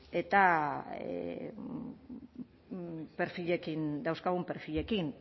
eta perfilekin dauzkagun perfilekin